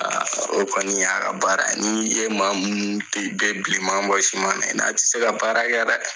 Aa kɔni y'a ka baara ni ye maa minnu to ye bɛɛ bilenman bɔ i sumana i n a tɛ se ka baarakɛ dɛ.